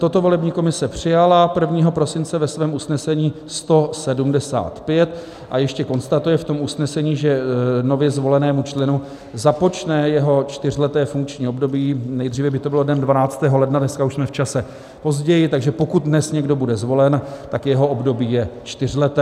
Toto volební komise přijala 1. prosince ve svém usnesení 175 a ještě konstatuje v tom usnesení, že nově zvolenému členu započne jeho čtyřleté funkční období, nejdříve by to bylo dnem 12. ledna, dneska už jsme v čase později, takže pokud dnes někdo bude zvolen, tak jeho období je čtyřleté.